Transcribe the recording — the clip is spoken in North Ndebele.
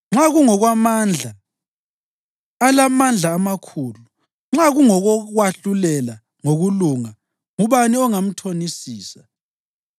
Nxa kungokwamandla, alamandla amakhulu! Nxa kungokokwahlulela ngokulunga, ngubani ongamthonisisa?